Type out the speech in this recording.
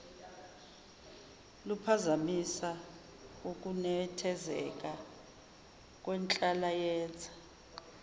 luphazamisa ukunethezeka kwenhlalayenza